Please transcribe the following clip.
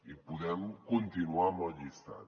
i podem continuar amb el llistat